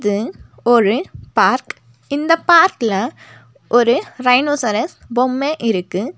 இது ஒரு பார்க் இந்த பார்க்ல ஒரு ரைனோசரஸ் பொம்மை இருக்கு.